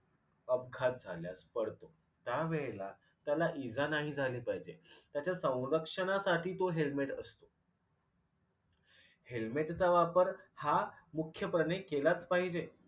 अपघात झाल्यास पडतो त्या वेळेला त्याला इजा नाही झाली पाहिजे त्याच्या संरक्षणासाठी तो helmet असतो. helmet चा वापर हा मुख्यपणे केलाच पाहिजे